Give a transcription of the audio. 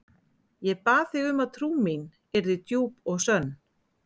Ég bað þig um að trú mín yrði djúp og sönn.